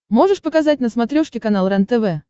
можешь показать на смотрешке канал рентв